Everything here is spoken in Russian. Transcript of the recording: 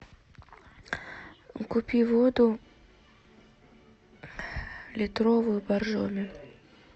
купи воду литровую боржоми